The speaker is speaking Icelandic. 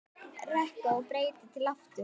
Reka og breyta til aftur?